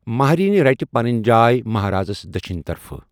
مہرٮ۪ن رٔٹہِ پنٕنۍ جاۓ مہرازَس دچھنہِ طرفہٕ۔